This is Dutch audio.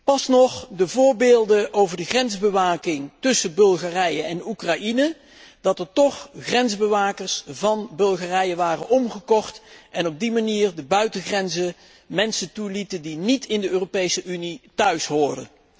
Onlangs nog hoorden we over de grensbewaking tussen Bulgarije en Oekraïne dat er toch grensbewakers van Bulgarije waren omgekocht die aan de buitengrenzen mensen toelieten die niet in de Europese Unie thuishoren.